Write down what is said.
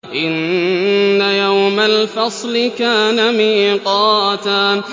إِنَّ يَوْمَ الْفَصْلِ كَانَ مِيقَاتًا